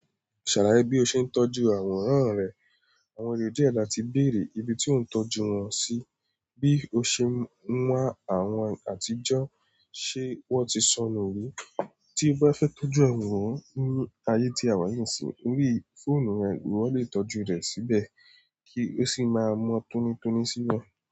Ṣàlàyé bí o ṣe ń tọ́jú àwòrán rẹ. Àwọn èrò díẹ̀ da ti bèrè ibi tí ò ń tọ́jú wọn sí, bí o ṣe ń wá àwọn àtijọ́, ṣe wọ́n ti sọnù rí. Tí bá fẹ́ tọ́jú àwòrán ni ayé tí a wà yi nisi lórí fonu yẹn ìwọ lè tọ́jú rẹ̀ síbẹ̀ kí sì má mo toni toni si nu e.